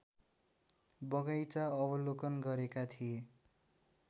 बगैंचा अवलोकन गरेका थिए